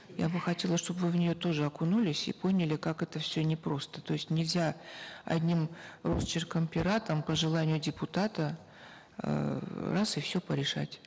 я бы хотела чтобы вы в нее тоже окунулись и поняли как это все непросто то есть нельзя одним росчерком пера там по желанию депутата эээ раз и все порешать